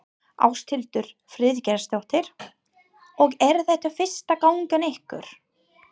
Ásthildur Friðgeirsdóttir: Og er þetta fyrsta gangan ykkar?